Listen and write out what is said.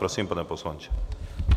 Prosím, pane poslanče.